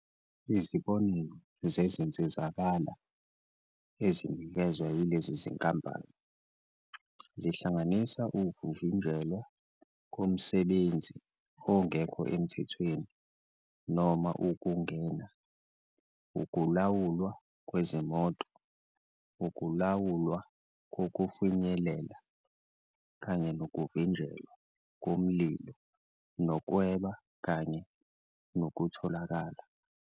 Izibonelo zezinsizakalo ezinikezwa yilezi zinkampani zihlanganisa ukuvinjelwa komsebenzi ongekho emthethweni noma ukungena, ukulawulwa kwezimoto, ukulawulwa kokufinyelela, kanye nokuvinjelwa komlilo nokweba kanye nokutholakala.